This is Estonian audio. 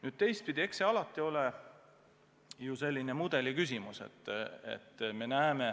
Nüüd teistpidi, eks see alati ole ju selline mudeli küsimus.